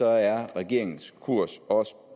er regeringens kurs også